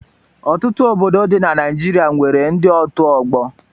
Ọtụtụ obodo dị na Naịjirịa nwere ndị otu ọgbọ.